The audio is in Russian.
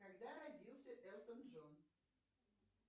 когда родился элтон джон